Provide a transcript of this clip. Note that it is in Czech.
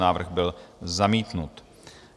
Návrh byl zamítnut.